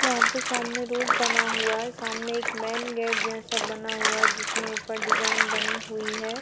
यहां पे सामने रोड बना हुआ है सामने एक मैन गेट जैसा बना हुआ है जिसमें ऊपर डिजाइन बनी हुई है।